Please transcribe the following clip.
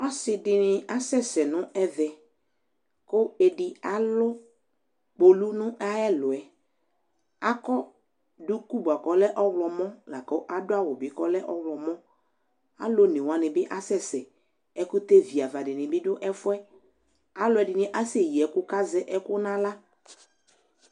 asɩ ɛɗɩnɩ asɛsɛnʊ ɛʋɛ mɛ ɔlʊ eɗɩgbo alʊ ƙpolʊ aƙɔ ɗʊƙʊ ɗʊnʊ awʊ ɔwlɔmɔ alʊ onɛwanɩ aƙasɛsɛ ɛƙʊtɛ ʋɩaʋaɗɩɓɩ ɔɗʊ ɛƒʊɛ ɛƙʊƴɩalʊɛɗɩnɩ azɛ ɛƙʊ nʊ ahla